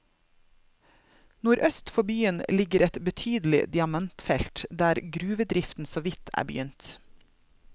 Nordøst for byen ligger et betydelig diamantfelt der gruvedriften såvidt er begynt.